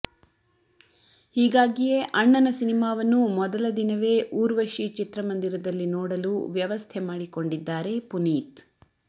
ಹೀಗಾಗಿಯೇ ಅಣ್ಣನ ಸಿನಿಮಾವನ್ನು ಮೊದಲ ದಿನವೇ ಊರ್ವಶಿ ಚಿತ್ರಮಂದಿರದಲ್ಲಿ ನೋಡಲು ವ್ಯವಸ್ಥೆ ಮಾಡಿಕೊಂಡಿದ್ದಾರೆ ಪುನೀತ್